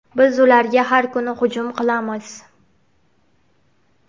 Biz ularga har kuni hujum qilamiz.